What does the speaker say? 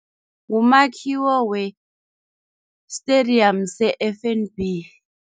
Ngumakhiwo we-stadium se-F_N_B.